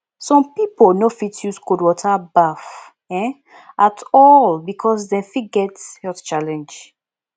some pipo no fit use cold water baff um at all because dem fit get health challenge